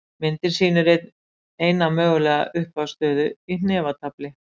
myndin sýnir eina mögulega upphafsstöðu í hnefatafli